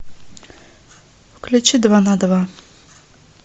включи два на два